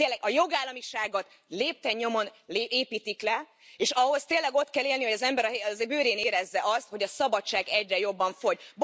A jogállamiságot lépten nyomon építik le, és ahhoz tényleg ott kell élni, hogy az ember a bőrén érezze azt, hogy a szabadság egyre jobban fogy.